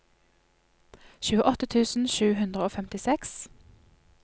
tjueåtte tusen sju hundre og femtiseks